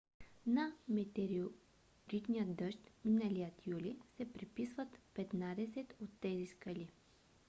на метеоритния дъжд миналия юли се приписват петнадесет от тези скали